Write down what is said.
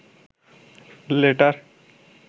letter